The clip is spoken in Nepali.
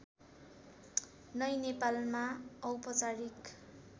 नै नेपालमा औपचारिक